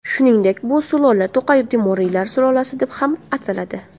Shuningdek, bu sulola To‘qay temuriylar sulolasi deb ham ataladi.